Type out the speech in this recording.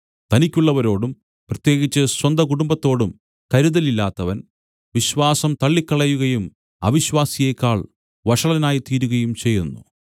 തനിക്കുള്ളവരോടും പ്രത്യേകിച്ച് സ്വന്ത കുടുംബത്തോടും കരുതലില്ലാത്തവൻ റ്വിശ്വാസം തള്ളിക്കളയുകയും അവിശ്വാസിയെക്കാൾ വഷളനായിത്തീരുകയും ചെയ്യുന്നു